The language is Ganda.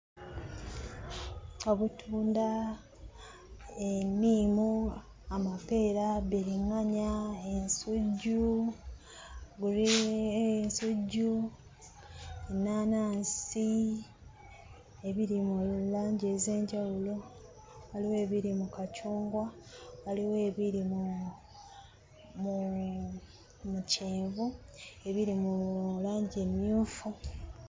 Obutunda, enniimu, amapeera, biriŋŋanya, ensujju, ensujju, ennaanansi ebiri mu langi ez'enjawulo: waliwo ebiri mu kacungwa, waliwo ebiri mu mu mu kyenvu, ebiri mu langi emmyufu.